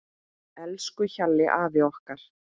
Elsku Hjalli afi okkar.